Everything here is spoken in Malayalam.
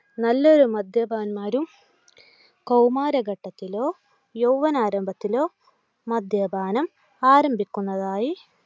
നല്ലൊരു മദ്യപന്മാരും കൗമാരഘട്ടത്തിലോ, യൗവ്വന ആരഭത്തിലോ മദ്യപാനം ആരംഭിക്കുന്നതായി